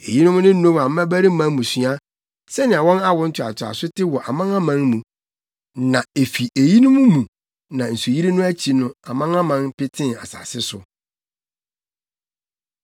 Eyinom ne Noa mmabarima mmusua, sɛnea wɔn awo ntoatoaso te wɔ wɔn amanaman mu. Na efi eyinom mu na nsuyiri no akyi no amanaman petee asase so.